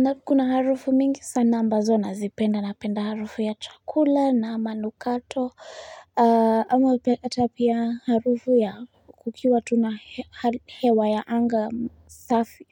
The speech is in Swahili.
Nakuna harufu mingi sana ambazo nazipenda, napenda harufu ya chakula na manukato ama wapeta pia harufu ya kukiwa tuna hewa ya anga safi